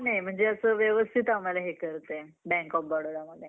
आहे म्हणजे असं व्यवस्थित आम्हाला हे करते Bank Of Barodaमध्ये